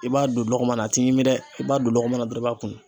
I b'a don lɔgɔman na a t'i ɲimi dɛ , i b'a don lɔgɔman na dɔrɔn i b'a kunu